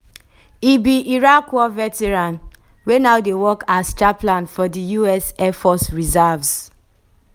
e be iraq war veteran wey now dey work as chaplain for di us air force reserves.